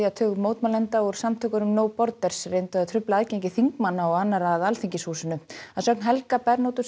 tug mótmælenda úr samtökunum no Borders reyndu að trufla aðgengi þingmanna og annarra að Alþingishúsinu að sögn Helga